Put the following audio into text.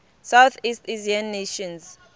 southeast asian nations